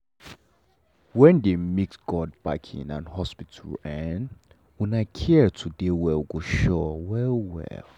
when dey mix god backing and hospital um um care to dey well go sure well well.